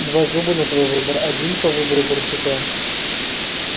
два зуба на твой выбор один по выбору барсука